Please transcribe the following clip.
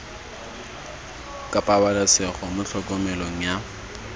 ka pabalesego mo tlhokomelong ya